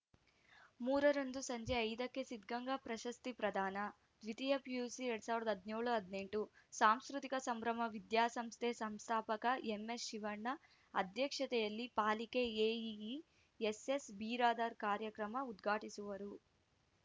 ಮೂರ ರಂದು ಸಂಜೆ ಐದ ಕ್ಕೆ ಸಿದ್ಧಗಂಗಾ ಪ್ರಶಸ್ತಿ ಪ್ರದಾನ ದ್ವಿತೀಯ ಪಿಯುಸಿ ಎರಡ್ ಸಾವಿರದ ಹದಿನೇಳು ಹದಿನೆಂಟು ಸಾಂಸ್ಕೃತಿಕ ಸಂಭ್ರಮ ವಿದ್ಯಾಸಂಸ್ಥೆ ಸಂಸ್ಥಾಪಕ ಎಂಎಸ್‌ಶಿವಣ್ಣ ಅಧ್ಯಕ್ಷತೆಯಲ್ಲಿ ಪಾಲಿಕೆ ಎಇಇ ಎಸ್‌ಎಸ್‌ಬಿರಾದಾರ್‌ ಕಾರ್ಯಕ್ರಮ ಉದ್ಘಾಟಿಸುವರು